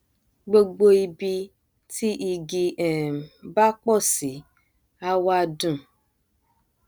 gbogbo ibi tí igi um bá pọ sí a wá dùn